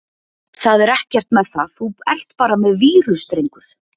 Það er ekkert með það, þú ert bara með vírus drengur!